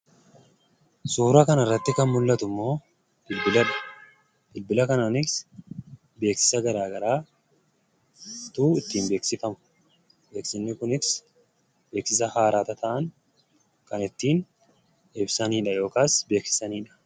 Suura kanarratti kan mul'atu immoo bilbila. Bilbila kanaanis beeksisa garaa garaatu ittiin beeksifama. Beeksisni kunis beeksisa haaraa tata'an kan ittiin ibsanidha yookaas beeksisanidha.